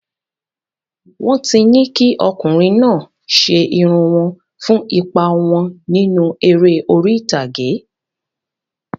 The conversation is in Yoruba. Wọ́n ti ní kí ọkùnrin náà ṣe irun wọn fún ipa wọn nínú eré orí ìtàgé.